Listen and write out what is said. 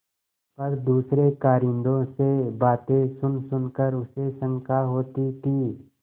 पर दूसरे कारिंदों से बातें सुनसुन कर उसे शंका होती थी